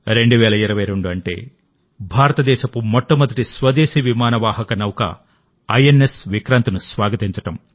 2022 అంటే భారతదేశపు మొట్టమొదటి స్వదేశీ విమాన వాహక నౌక ఐఎన్ఎస్ విక్రాంత్ను స్వాగతించడం